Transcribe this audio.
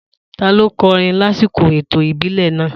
Ta ló kọrin lásìkò ètò ìbílẹ̀ náà?